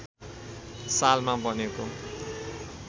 सालमा बनेको